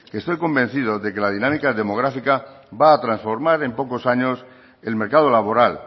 que estoy convencido de que la dinámica demográfica va a transformar en pocos años el mercado laboral